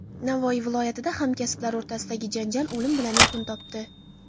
Navoiy viloyatida hamkasblar o‘rtasidagi janjal o‘lim bilan yakun topdi.